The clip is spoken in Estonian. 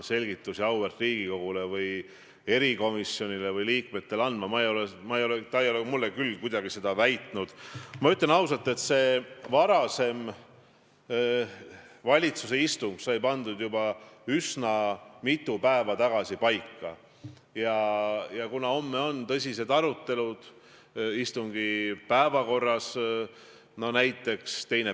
Eelmisel aastal – et ma nüüd ei eksiks, siis võtsin teie tsitaadi välja – ütlesite te: "Mitte ainult minu, vaid ka terve hulga teiste meie fraktsioonide liikmetega võtavad peaaegu igapäevaselt ühendust inimesed, kes toovad meile absurdseid ja õõvastavaid konkreetseid näiteid sellest, kuidas Eesti kohtud ja prokuratuur rikuvad seadusi, kuidas menetlus ise ongi karistus, kuidas omavolitsetakse ja suvatsetakse.